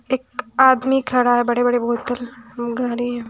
एक आदमी खड़ा है बड़े बड़े बोतल घडी है।